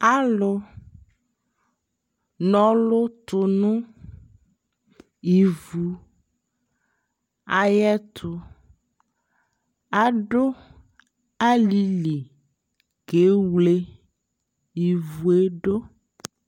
alʋ nɔlʋ tʋnʋivʋ ayɛtʋ, adʋ alili kɛ wlɛ ivʋɛ dʋ